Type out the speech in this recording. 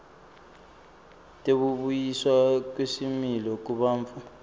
tekubuyiswa kwesimilo kubantfu